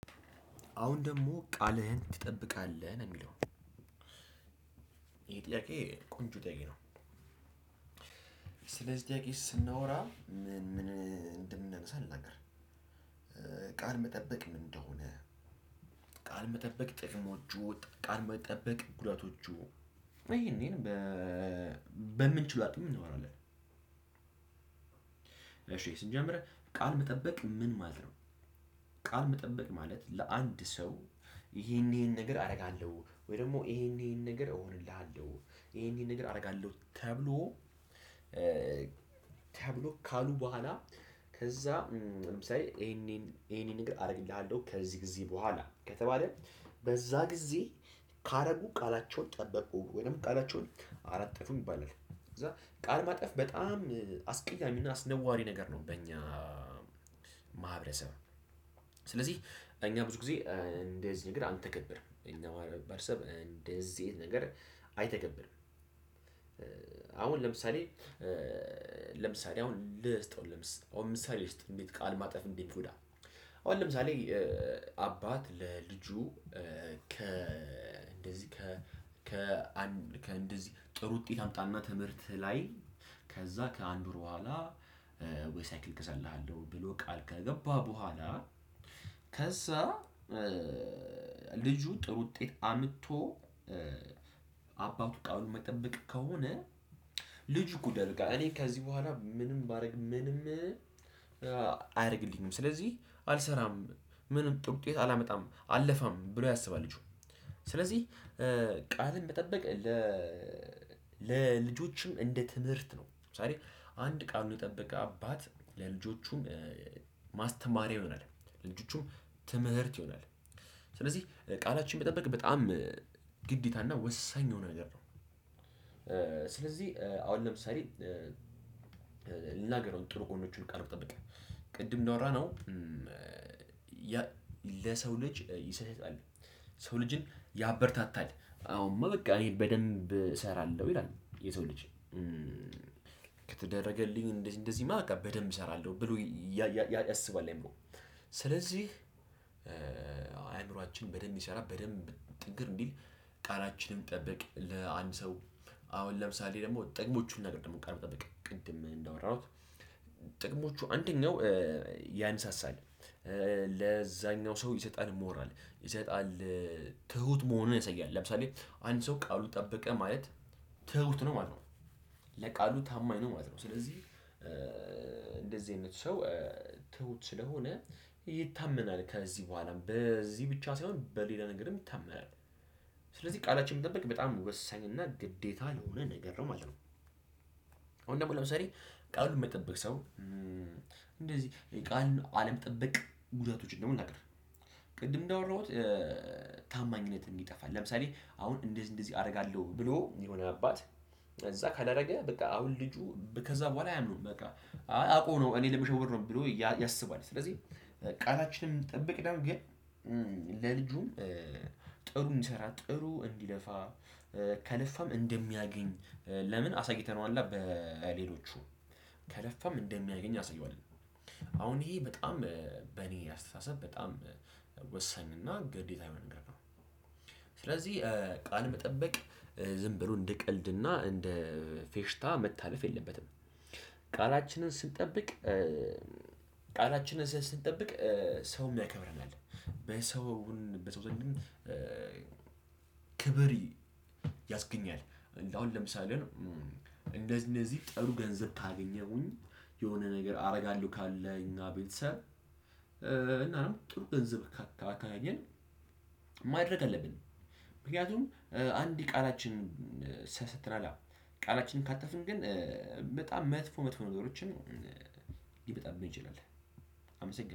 አሁን ደግሞ ቃልህን ትጠብቃለህ ነው የሚለው ይሄ ጥያቄ ቆንጆ ጥያቄ ነው። ስለዚህ ጥያቄ ስናወራ ምን ምን እንደምንነሳ ልናገር። ቃል መጠበቅ ምን እንደሆነ? ቃል መጠበቅ ጥቅሞቹ ቃል መጠበቅ ጉዳቶቹ። ይሄን በምንችለው አቅም እናወራለን። ስንጀምር ቃል መጠበቅ ምን ማለት ነው? ቃል መጠበቅ ማለት ለአንድ ሰው ይሄን ይሄን ነገር አደርጋለሁ ወይ ደግሞ ይሄን ይሄን ነገር እሆንልሃለሁ ይሄን ይሄን ነገር አደርጋለሁ ተብሎ። ተብሎ ካሉ በኋላ ከዛ ለምሳሌ ይሄንን ይሄንን እግር አደርግልሃለሁ ከዚህ ጊዜ በኋላ ከተባለ። በዛ ጊዜ ካረጉ ቃላቸውን ጠበቁ ወይም ቃላቸውን አላጠፉም ይባላል። ከዛ ቃል ማጠፍ በጣም አስቀያሚ እና አስነዋሪ ነገር ነው። በእኛ ማህበረሰብ። ስለዚህ እኛ ብዙ ጊዜ እንደዚህ ነገር አንተገብርም የእኛ ማህበረሰብ እንደዚህ አይነት ነገር አይተገብርም። አሁን ለምሳሌ ለምሳሌ አሁን ልስጠው ልምስ አሁን ምሳሌ ልስጥ እንዴት ቃል ማጠፍ እንዴት እንደሚጎዳ? አሁን ለምሳሌ አባት ለልጁ ከ እንደዚህ ከ ከአንድ ከእንደዚህ ጥሩ ውጤት አምጣና ትምህርት ላይ ከዛ ከአንድ ወር በኋላ ወይ ሳይክል እገዛልሃለሁ ብሎ ቃል ከገባ በኋላ። ከዛ ልጁ ጥሩ ውጤት አምጥቶ አባቱ ቃሉን የማይጠበቅ ከሆነ። ልጁ ይጎዳል በቃ እኔ ከዚህ በኋላ ምንም ባደርግ ምንም አያደርግልኝም። ስለዚህ አልሰራም ምንም ጥሩ ውጤት አላመጣም አለፋም ብሎ ያስባል ልጁ። ስለዚህ ቃልን መጠበቅ ለልጆችም እንደ ትምህርት ነው። ለምሳሌ አንድ ቃሉን የጠበቀ አባት ለልጆቹም ማስተማሪያ ይሆናል ለልጆቹም ትምህርት ይሆናል። ስለዚህ ቃላችን መጠበቅ በጣም ግዴታና ወሳኝ የሆነ ነገር ነው። ስለዚህ አሁን ለምሳሌ ልናገረው ጥሩ ጎኖቹን ቃልን መጠበቅ ቅድም እንዳወራነው። ለሰው ልጅ ይሰህታል ሰው ልጅን ያበረታታል። አዎ በቃ እኔ በደንብ እሰራለሁ ይላል የሰው ልጅ። ከተደረገልኝ እንደዚህ እንደዚህ እማ በደንብ እሰራለሁ ብሎ ያስባል። አይምሮ ስለዚህ አይምሮአችን በደንብ ይሰራል በደንብ ጥንክር እንዲል። ቃላችንን ጠብቅ ለአንድ ሰው አሁን ለምሳሌ ደግሞ ጥቅሞቹን ልናገር ደግሞ ቃልን መጠበቅ ቅድም እንዳወራሁት። ጥቅሞቹ አንደኛው ያነሳሳል ለዛኛው ሰው ይሰጣል ሞራል ይሰጣል። ትሁት መሆኑን ያሳያል። ለምሳሌ አንድ ሰው ቃሉ ጠበቀ ማለት ትሁት ነው ማለት ነው። ለቃሉ ታማኝ ነው ማለት ነው። ስለዚህ እንደዚህ አይነት ሰው ትሁት ስለሆነ ይታመናል ከዚህ በኋላም በዚህ ብቻ ሳይሆን በሌላ ነገርም ይታመናል። ስለዚህ ቃላችንን ጠበቅ በጣም ወሳኝ እና ግዴታ የሆነ ነገር ነው ማለት ነው። አሁን ደግሞ ለምሳሌ ቃሉን የማይጠብቅ ሰው እንደዚህ ቃል አለመጠበቅ ጉዳቶችን ደግሞ ልናገር። ቅድም እንዳወራሁት ታማኝነት እንዲጠፋ ለምሳሌ አሁን እንደዚህ እንደዚህ አደርጋለሁ ብሎ የሆነ አባት ከዛ ካደረገ በቃ አሁን ልጁ ከዛ በኋላ አያምነውም በቃ። አውቆ ነው እኔን ለመሸወድ ነው ብሎ ያስባል። ስለዚህ ቃላችንን ብንጠብቅ ደግሞ ግን ለልጁም ጥሩ እንዲሰራ ጥሩ እንዲለፋ ከለፋም እንደሚያገኝ ለምን አሳይተነዋል በሌሎቹ ከለፋም እንደሚያገኝ እናሳየዋለን። አሁን ይሄ በጣም በኔ አስተሳሰብ በጣም ወሳኝ እና ግዴታ የሆነ ነገር ነው። ስለዚህ ቃል መጠበቅ ዝም ብሎ እንደ ቀልድና እና ፌሽታ መታለፍ የለበትም። ቃላችንን ስንጠብቅ ቃላችንን ስንጠብቅ ሰውም ያከብረናል በሰውን በሰው ዘንድም ክብር ያስገኛል። አሁን ለምሳሌ እንደነዚህ ጥሩ ገንዘብ ካገኘሁኝ የሆነ ነገር አደርጋለሁ ካለኝ የእኛ ቤተሰብ እና ነው ጥሩ ገንዘብ ካገኘ ማድረግ አለብን። ምክንያቱም አንዴ ቃላችን ሰተናል ቃላችንን ካተፍን ግን በጣም መጥፎ መጥፎ ነገሮችን ይበጣብን ይችላል። አመሰግናለሁ